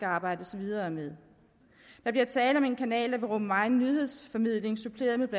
arbejdes videre med der bliver tale om en kanal der vil rumme megen nyhedsformidling suppleret med